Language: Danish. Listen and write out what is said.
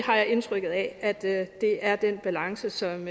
har indtrykket af at det det er den balance som